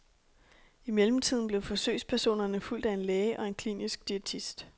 I mellemtiden blev forsøgspersonerne fulgt af en læge og en klinisk diætist.